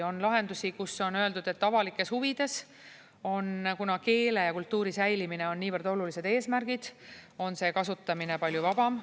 On lahendusi, kus on öeldud, et avalikes huvides, kuna keele ja kultuuri säilimine on niivõrd olulised eesmärgid, on see kasutamine palju vabam.